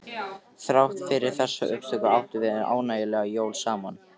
Þrátt fyrir þessa uppákomu áttum við ánægjuleg jól saman.